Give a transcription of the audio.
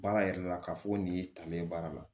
Baara yɛrɛ la k'a fɔ ko nin y'i talilen ye baara la